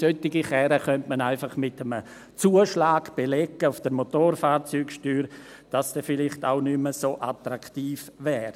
Solche Karren könnte man einfach mit einem Zuschlag auf der Motorfahrzeugsteuer belegen, damit es nicht mehr so attraktiv wäre.